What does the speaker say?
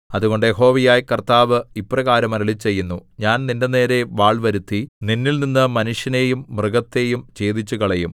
അതുകൊണ്ട് യഹോവയായ കർത്താവ് ഇപ്രകാരം അരുളിച്ചെയ്യുന്നു ഞാൻ നിന്റെനേരെ വാൾ വരുത്തി നിന്നിൽനിന്ന് മനുഷ്യനെയും മൃഗത്തെയും ഛേദിച്ചുകളയും